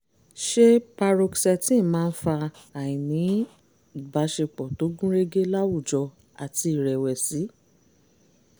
ṣé paroxetine máa ń fa àìní-ìbáṣepọ̀ tó gúnrégé láwùjọ àti ìrẹ̀wẹ̀sì?